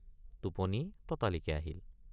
টোপনি ততালিকে আহিল।